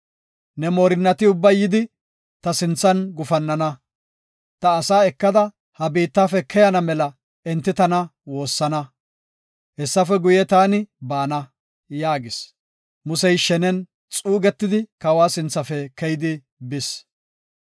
Ne moorinnati ubbay yidi ta sinthan gufannana. Ta asaa ekada ha biittafe keyana mela enti tana woossana. Hessafe guye, taani baana” yaagis. Musey shenen xuugetidi kawa sinthafe keyidi bis.